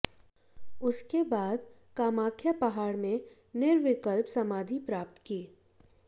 उसके बाद कामाख्या पहाड़ में निर्विकल्प समाधि प्राप्त की